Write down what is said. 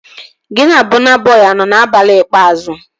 Gị na Bọna Bọi anọ abalị ikpeazụ?